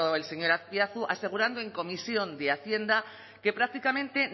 el señor azpiazu asegurando en comisión de hacienda que prácticamente